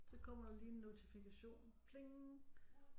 Så kommer der lige en notifikation pling